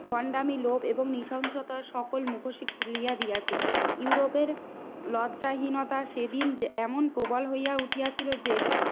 ভন্ডামি লোভ এবং নৃশংসতার সকল মুখোশই খুলিয়া দিয়াছে। ইউরোপের লজ্জাহীনতা সেদিন এমন প্রবল হইয়া উঠিয়াছিল যে